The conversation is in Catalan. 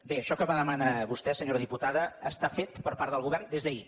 bé això que demana vostè senyora diputada està fet per part del govern des d’ahir